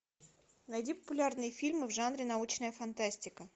найди популярные фильмы в жанре научная фантастика